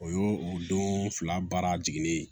O y'o o don fila baara jiginnen ye